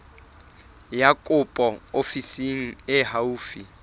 ya kopo ofising e haufi